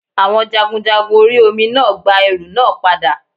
Àwon jagunjagun orí Omi náà gba ẹrù náà padà